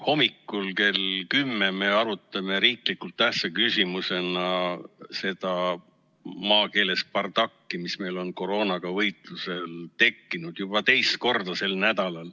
Hommikul kell 10 me arutame riiklikult tähtsa küsimusena seda, maakeeles öeldes, bardakki, mis meil on koroonaga võitluses tekkinud, juba teist korda sel nädalal.